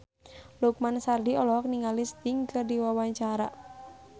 Lukman Sardi olohok ningali Sting keur diwawancara